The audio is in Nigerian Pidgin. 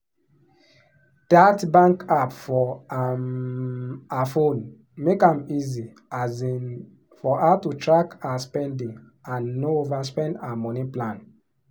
that bank app for um her phone make am easy um for her to track her spending and no overspend her money plan.